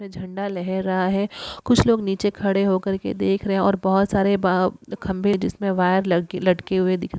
झंडा लहर रहा है कुछ लोग नीचे खड़े होकर के देख रहे हैं और बहुत सारे वा खंभे जिसमें वायर लटके हुए दिख रह --